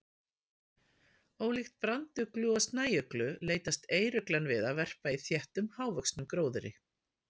Ólíkt branduglu og snæuglu leitast eyruglan við að verpa í þéttum, hávöxnum gróðri.